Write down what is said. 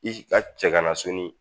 I ka cɛ kana sɔni